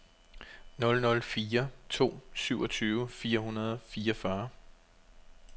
nul nul fire to syvogtyve fire hundrede og fireogfyrre